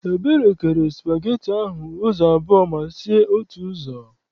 Ebere kere spageti ahụ ụzọ abụọ ma sie otu ụzọ.